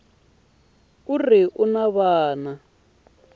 a ri un wana wa